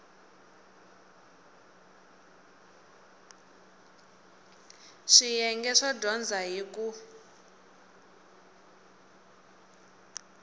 swiyenge swo dyondza hi ku